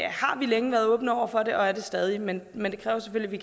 har vi længe været åbne over for det og er det stadig men men det kræver selvfølgelig